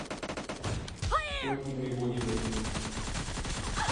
ольги воеводиной